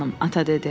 ata dedi.